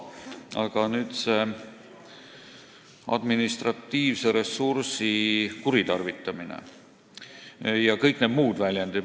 Aga nüüd see administratiivse ressursi kuritarvitamine jms väljendid.